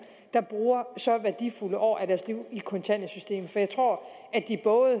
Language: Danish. der bruger så værdifulde år af deres liv i kontanthjælpssystemet for jeg tror at de både